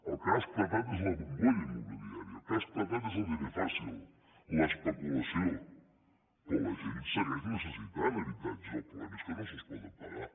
el que ha esclatat és la bombolla immobiliària el que ha esclatat és el diner fàcil l’especulació però la gent segueix necessitant habitatges el problema és que no se’ls poden pagar